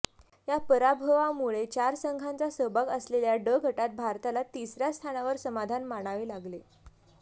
या पराभवामुळे चार संघांचा सहभाग असलेल्या ड गटात भारताला तिसऱया स्थानावर समाधान मानावे लागले